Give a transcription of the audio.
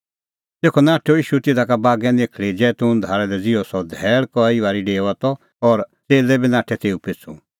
तेखअ नाठअ ईशू तिधा का बागै निखल़ी जैतून धारा लै ज़िहअ सह धैल़ कई बारी डेओआ त और च़ेल्लै बी नाठै तेऊ पिछ़ू